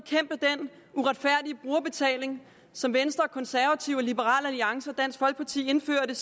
uretfærdige brugerbetaling som venstre konservative liberal alliance og dansk folkeparti indførte